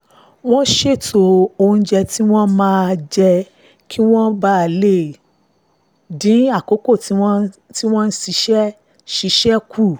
wọ́n ṣètò oúnjẹ tí wọ́n máa jẹ kí wọ́n lè dín àkókò tí wọ́n fi ń ṣiṣẹ́ ṣiṣẹ́ kù